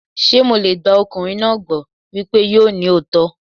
Ṣé mo lè gba ọkùnrin náà gbọ́ wípé yóò ní òótọ́?